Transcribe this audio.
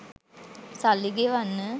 සල්ලි ගෙවන්න